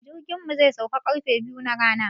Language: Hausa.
Jirkin mu zai sauka ƙarfe biyu na rana.